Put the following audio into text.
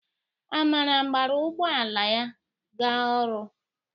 Amara gbara ụgbọ ala ya ga ọrụ.